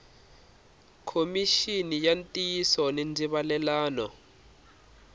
khomixini ya ntiyiso ni ndzivalelano